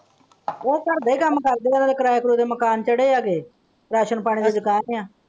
ਉਹ ਘਰ ਦੇ ਕੰਮ ਕਰ ਦੀਆਂ ਕਿਰਾਏ ਦੇ ਮਕਾਨ ਚੜ੍ਹੇ ਹੈਗੇ ਰਾਸ਼ਨ ਪਾਣੀ ਦੀ ਦੁਕਾਨ ਹੈ।